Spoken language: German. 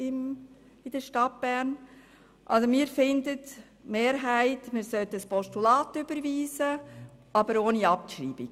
Die Mehrheit der SVP ist also dafür, ein Postulat zu überweisen, aber ohne es abzuschreiben.